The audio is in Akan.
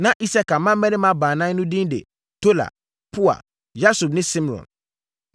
Na Isakar mmammarima baanan no din de Tola, Pua, Yasub ne Simron.